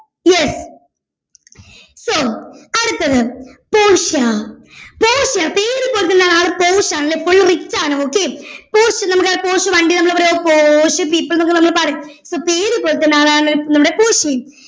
yes so അടുത്തത് Portia Portia പേര് പോലെത്തന്നെ ആൾ പോർഷ് ആണ് അല്ലെ full rich ആണ് okay പോർഷ് നമ്മടെ പോർഷ് വണ്ടി നമ്മള് പറയുവാ പോർഷ് people ന്നൊക്കെ നമ്മള് പറയും so പേര് പോലത്തെന്നെ ആളാണ് നമ്മടെ പോർഷ്യയും